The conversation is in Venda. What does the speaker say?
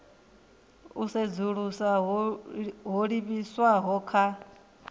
u sedzulusa ho livhiswaho kha